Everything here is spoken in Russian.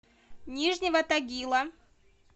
нижнего тагила